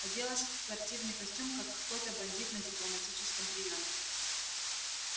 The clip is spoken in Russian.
оделась в спортивный костюм как какой-то бандит на дипломатическом приёме